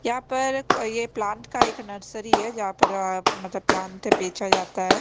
यहाँ पर एक प्लांट का एक नर्सरी है जहा पर मतलब प्लांट बेचा जाता है।